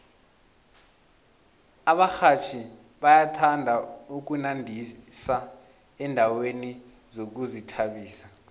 abarhatjhi bayathanda ukunandisa endaweni zokuzithabisa